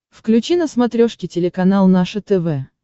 включи на смотрешке телеканал наше тв